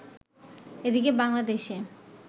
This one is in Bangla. এদিকে বাংলাদেশে